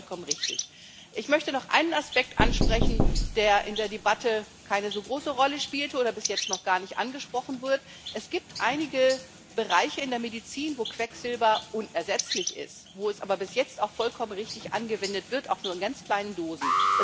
Auch das ist vollkommen richtig. Ich möchte noch einen Aspekt ansprechen, der in der Debatte keine so große Rolle spielte oder bis jetzt noch gar nicht angesprochen wurde Es gibt einige Bereiche in der Medizin, wo Quecksilber unersetzlich ist, wo es aber bis jetzt auch vollkommen richtig angewendet wird, auch nur in ganz kleinen Dosen.